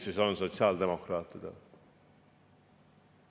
Mis see sotsiaaldemokraatide hind siis on?